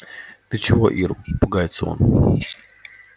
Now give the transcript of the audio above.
ты чего ир пугается он